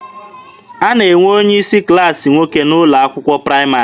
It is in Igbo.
A na-enwe onye isi klaasị nwoke n'ụlọ akwụkwọ praịmarị.